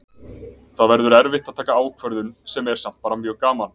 Það verður erfitt að taka ákvörðun sem er samt bara mjög gaman.